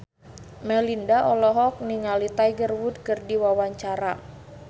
Melinda olohok ningali Tiger Wood keur diwawancara